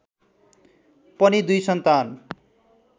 पनि दुई सन्तान